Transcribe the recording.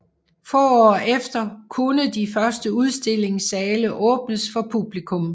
Få år efter kunne de første udstillingssale åbnes for publikum